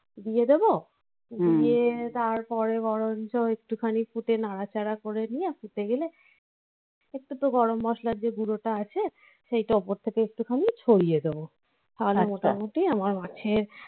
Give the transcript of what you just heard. দিয়ে দেবও তারপরে বরঞ্চ একটুখানি ফুটে নাড়াচাড়া করে একটু তো গরম মসলার যে গুঁড়োটা আছে সেইটা ওপর থেকে একটুখানি ছড়িয়ে দেবো. আর মোটামুটি আমার মাছের